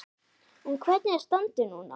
En hvernig er standið núna?